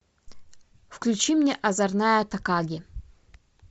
включи мне озорная такаги